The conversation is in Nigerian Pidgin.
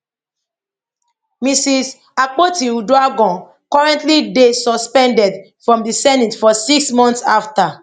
mrs akpoti uduaghan currently dey suspended from di senate for six months afta